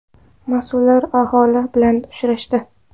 Mas’ullar aholi bilan uchrashdi.